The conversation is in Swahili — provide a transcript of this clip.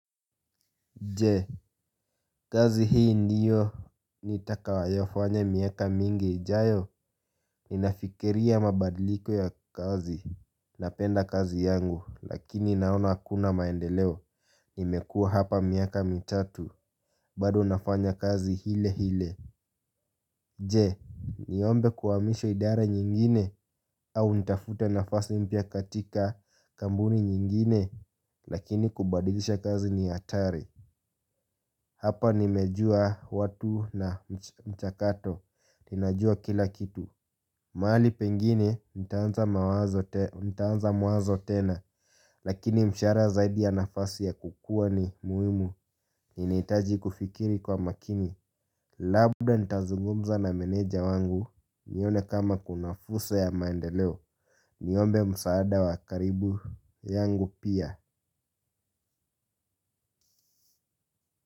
Jee, kazi hii ndiyo nitakayo fanya miaka mingi, ijayo, ninafikiria mabadiliko ya kazi, napenda kazi yangu, lakini naona hakuna maendeleo, imekua hapa miaka mitatu, bado nafanya kazi ile ile. Je, niombe kuhamishwa idara nyingine au nitafute nafasi mpya katika kampuni nyingine lakini kubadilisha kazi ni hatari. Hapa nimejua watu na mchakato, ninajua kila kitu. Mahali pengine nitaanza mwanzo tena lakini mshahara zaidi ya nafasi ya kukua ni muhimu ninahitaji kufikiri kwa makini. Labda nitazungumza na meneja wangu. Nione kama kunafursa ya maendeleo. Niombe msaada wakaribu yangu pia.